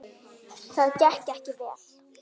Það gekk ekki vel.